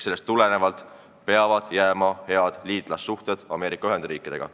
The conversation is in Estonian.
Sellest tulenevalt peavad jääma head liitlassuhted Ameerika Ühendriikidega.